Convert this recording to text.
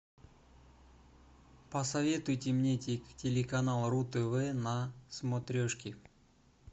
посоветуйте мне телеканал ру тв на смотрешке